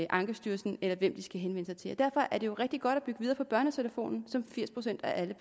ankestyrelsen eller hvem de skal henvende sig til derfor er det rigtig godt at bygge videre på børnetelefonen som firs procent af alle